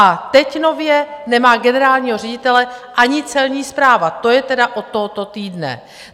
A teď nově nemá generálního ředitele ani Celní správa, to je tedy od tohoto týdne.